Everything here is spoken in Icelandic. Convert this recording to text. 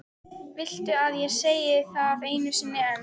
Viltu að ég segi það einu sinni enn?